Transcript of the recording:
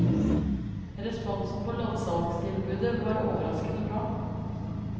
Responsen på loddsalgstilbudet var overraskende bra.